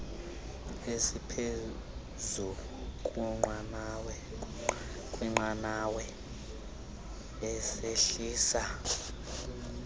esiphezu kweqanawa esehlisa